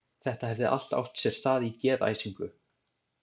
Þetta hefði allt átt sér stað í geðæsingu.